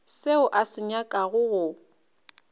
seo a se nyakago go